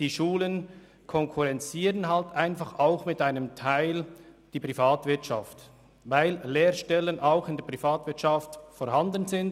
Diese Schulen konkurrenzieren eben auch zu einem gewissen Teil die Privatwirtschaft, weil Lehrstellen ebenso in der Privatwirtschaft angeboten werden.